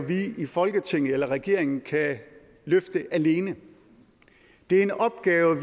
vi i folketinget eller regeringen kan løfte alene det er en opgave